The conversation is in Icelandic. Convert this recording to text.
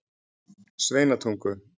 Sveinatungu